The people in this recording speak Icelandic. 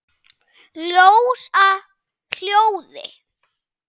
Ljós að hljóði?